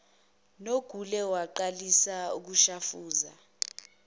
nogule aqalise ukushafuza